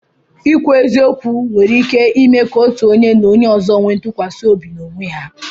Ikwu eziokwu nwere ike ime ka otu onye na onye ọzọ nwee ntụkwasị obi n'onwe ha.